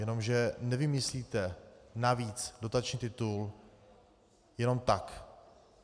Jenomže nevymyslíte navíc dotační titul jenom tak.